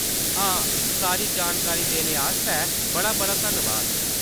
हां, सारी जानकारी देने आस्तै बड़ा-बड़ा धन्नवाद।